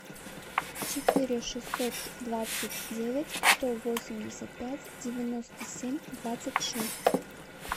четыре шестьсот двадцать девять сто восемьдесят пять девяносто семь двадцать шесть